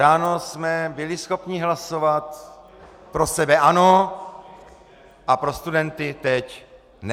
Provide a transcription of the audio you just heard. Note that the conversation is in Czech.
Ráno jsme byli schopni hlasovat pro sebe ano - a pro studenty teď ne?